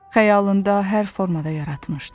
Xəyalında hər formada yaratmışdı.